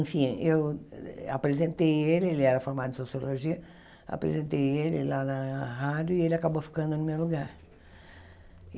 Enfim, eu apresentei ele, ele era formado em Sociologia, apresentei ele lá na rádio e ele acabou ficando no meu lugar.